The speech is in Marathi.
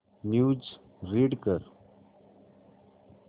न्यूज रीड कर